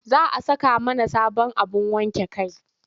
Za a saka mana sabon abin wankin kai.